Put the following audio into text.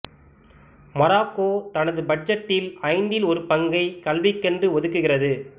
Morocco தனது பட்ஜெட்டில் ஐந்தில் ஒரு பங்கை கல்விக்கென்று ஒதுக்குகிறது